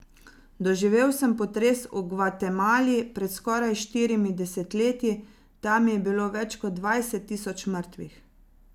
Doživel pa sem potres v Gvatemali pred skoraj štirimi desetletji, tam je bilo več kot dvajset tisoč mrtvih.